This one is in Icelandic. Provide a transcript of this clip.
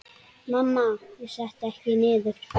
Mamma: Ég setti ekkert niður!